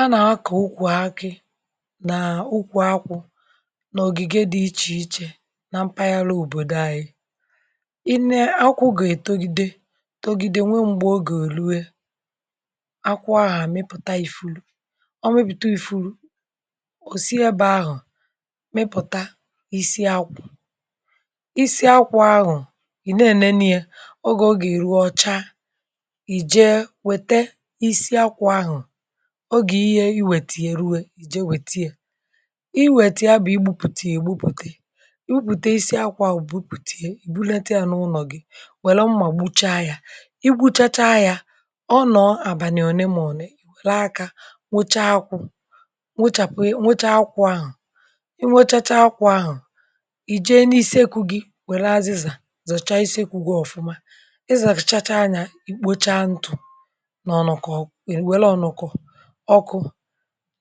A na-akọ̀ ukwù akị̀ n’ukwù akwụ̀ n’ogigè dị̀ iche ichè nà mpagharà òbodò anyị̀ i nee akwụ̀ ga-etogidè togidè nwè m̄gbè ọ ga-eluè akwụ̀ ahụ̀ amị̀pụ̀tà ifurù ọ mị̀pụtà ifùrù o siè ebe ahụ̀ mị̀pụ̀tà isi akwụ̀ isi akwụ̀ ahụ̀ ị na-enenè yà ogè ọga-eruò, ọchà i jeè wetà isi akwụ̀ ahụ̀ ogè ihe iwetà yà ruwè jeè wetà yà iwetà yà bụ̀ igbupùtà yà egbupùtà gbupùtà isi akwụ̀ ahụ̀ gbupùtà bulàtà yà n’ụlọ̀ gị̀ welù mmà gbuchaà yà i gbuchàchà yà ọ nọ̀ abànị̀ onè mà onè yà aka nwochà akwụ̀ nwochàpù yà, nwochà akwụ̀ ahụ̀ i nwochàchà akwụ̀ ahụ̀ i jeè n’isi ekwù gì werè azịzà zọ̀chà isi ekwù gì ọfụ̀mà ị zapụ̀chàchà nyà ikpochà ntụ̀ n’ọnụ̀kọ̀ wee welù ọnụ̀kọ̀ ọkụ̀